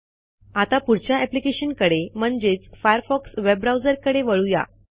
आता पुढच्या अप्लिकेशनकडे म्हणजेच फायरफॉक्स वेब ब्राऊझरकडे वळू या